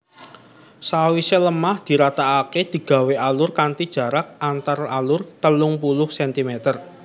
Sawise lemah diratakake digawé alur kanthi jarak antaralur telung puluh centimeter